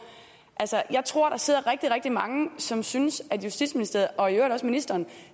jeg tror der sidder rigtig rigtig mange som synes at justitsministeriet og i øvrigt også ministeren